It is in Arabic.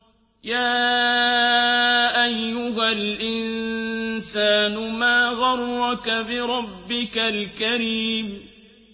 يَا أَيُّهَا الْإِنسَانُ مَا غَرَّكَ بِرَبِّكَ الْكَرِيمِ